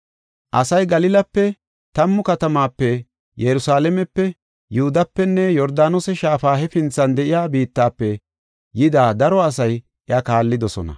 Asay Galilape, Tammu Katamatape, Yerusalaamepe, Yihudapenne Yordaanose Shaafa hefinthan de7iya biittafe yida daro asay iya kaallidosona.